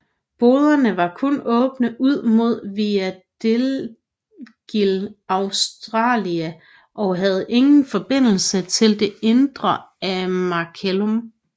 Boderne var kun åbne ud mod Via degli Augustali og havde ingen forbindelse til det indre af Macellum